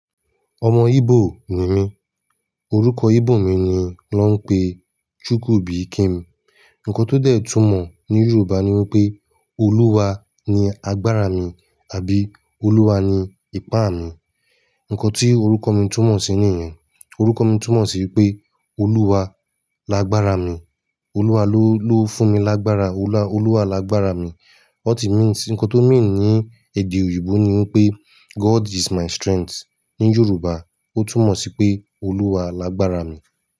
Ọmọ Igbo ni mí, orúkọ Igbo mi ni wón ń pe Chukwubikem. Ǹkan tó déè túmọ̀ ní Yorùbá ni wípé Oluwa ni agbára mi àbí Oluwa ni ipá mi. Ǹkan tí orúkọ mi túmọ̀ sí nìyẹn. Orúkọ mi túmọ̀ sí pé Oluwa lágbára mi, Oluwa ló, ló fún mi lágbára, Oluwa, Oluwa lágbára mi. Ọ̀tí mí n sì ǹkan tó mí ní èdè òyìnbó ni wípé God is my strength. Ni Yorùbá ó túmọ̀ sí pé Oluwa lágbára mi.